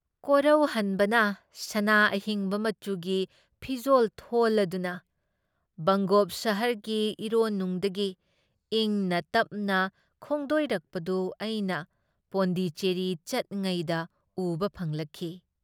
ꯀꯣꯔꯧꯍꯟꯕꯅ ꯁꯅꯥ ꯑꯍꯤꯡꯕ ꯃꯆꯨꯒꯤ ꯐꯤꯖꯣꯜ ꯊꯣꯜꯂꯗꯨꯅ ꯕꯪꯒꯣꯞ ꯁꯥꯍꯔꯒꯤ ꯏꯔꯣꯟꯅꯨꯡꯗꯒꯤ ꯏꯪꯅ ꯇꯞꯅ ꯈꯣꯡꯗꯣꯏꯔꯛꯄꯗꯨ ꯑꯩꯅ ꯄꯣꯟꯗꯤꯆꯦꯔꯤ ꯆꯠꯉꯩꯗ ꯎꯕ ꯐꯪꯂꯛꯈꯤ ꯫